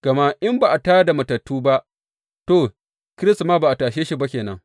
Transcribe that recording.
Gama in ba a tā da matattu ba, to, Kiristi ma ba a tashe shi ba ke nan.